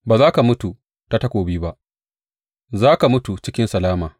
Ba za ka mutu ta takobi ba; za ka mutu cikin salama.